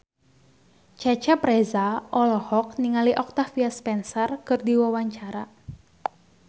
Cecep Reza olohok ningali Octavia Spencer keur diwawancara